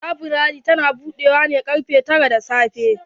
Laburare ta na budewa ne karfe tara da safe.